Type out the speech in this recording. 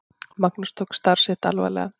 Magnús tók starf sitt alvarlega.